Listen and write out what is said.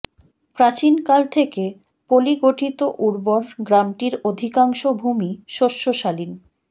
প্রাচীনকাল থেকে পলি গঠিত উর্বর গ্রামটির অধিকাংশ ভূমিই শস্যশালিন